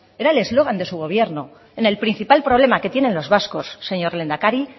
era el eslogan de su gobierno en el principal problema que tienen los vascos señor lehendakari